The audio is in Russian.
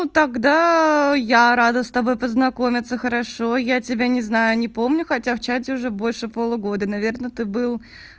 ну тогда я рада с тобой познакомиться хорошо я тебя не знаю не помню хотя в чате уже больше полугода наверное ты был